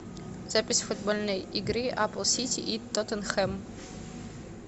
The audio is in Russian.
запись футбольной игры апл сити и тоттенхэм